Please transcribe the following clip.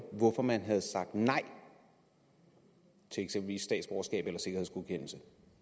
hvorfor man havde sagt nej til eksempelvis statsborgerskab eller sikkerhedsgodkendelse